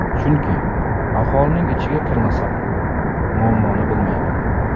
Chunki aholining ichiga kirmasam, muammoni bilmayman.